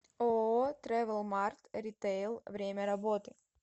ооо трэвелмарт ритейл время работы